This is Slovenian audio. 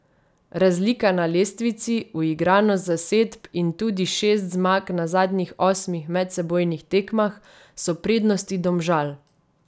Razlika na lestvici, uigranost zasedb in tudi šest zmag na zadnjih osmih medsebojnih tekmah so prednosti Domžal.